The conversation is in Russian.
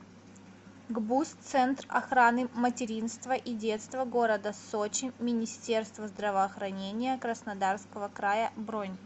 гбуз центр охраны материнства и детства города сочи министерства здравоохранения краснодарского края бронь